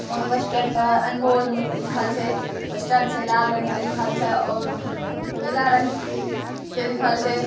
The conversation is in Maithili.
उ पोस्टर पर अनमोल लिखल छई पोस्टर छई लाल रंग के लिखल छई और नीला रंग के लिखल छई।